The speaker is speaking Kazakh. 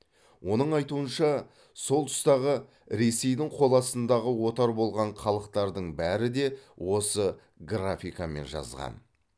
оның айтуынша сол тұстағы ресейдің қол астындағы отар болған халықтардың бәрі де осы графикамен жазған